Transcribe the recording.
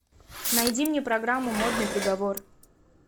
найди мне программу модный приговор